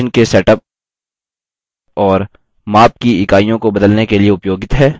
ruler page के margins हाशिया के सेटअप और माप की इकाइयों को बदलने के लिए उपयोगित है